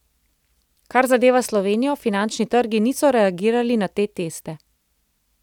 Kar zadeva Slovenijo, finančni trgi niso reagirali na te teste.